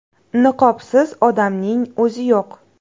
Niqobsiz odamning o‘zi yo‘q.